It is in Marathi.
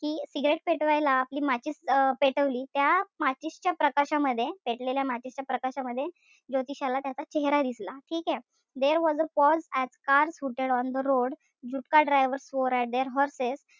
कि cigarette पेटवायला आपली माचीस अं पेटवली. त्या माचीसच्या प्रकाशामध्ये, पेटलेल्या माचीसच्या प्रकाशामध्ये ज्योतिषाला त्याचा चेहरा दिसला. ठीकेय? There was a pause as cars hooted on the road jutka drivers swore at their horses,